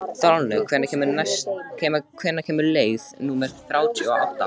Þorlaug, hvenær kemur leið númer þrjátíu og átta?